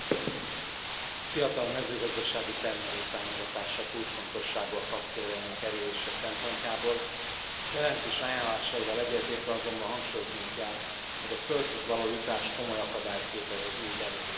Elnök Úr, a fiatal mezőgazdasági termelők támogatása kulcsfontosságú a KAP céljainak elérése szempontjából, a jelentés ajánlásaival egyetértve azonban hangsúlyoznunk kell, hogy a földhözjutás komoly akadályt képez az új belépők előtt.